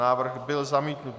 Návrh byl zamítnut.